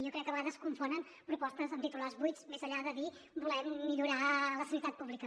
jo crec que a vegades confonen propostes amb titulars buits més enllà de dir volem millorar la sanitat pública